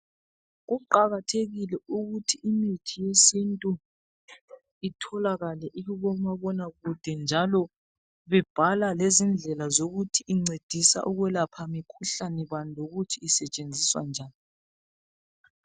Kuqakathekile ukuthi imithi yesintu itholakale ikuboma bonakude njalo bebhala lezindlela zokuthi incedisa ukwelapha mikhuhlane bani lokuthi isetshenziswa njani.